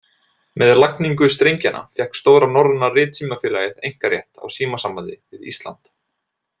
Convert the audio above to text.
Með lagningu strengjanna fékk Stóra norræna ritsímafélagið einkarétt á símasambandi við Ísland.